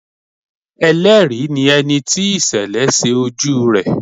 Ẹlẹ́rìí ni ẹni tí ìṣẹ̀lẹ̀ ṣe ojú rẹ̀.